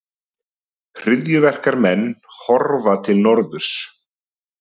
Hryðjuverkamenn horfa til norðurs